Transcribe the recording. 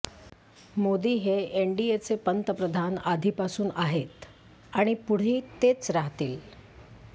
मोदी हे एनडीचे पंतप्रधान आधीपासून आहेत आणि पुढेही तेच राहतील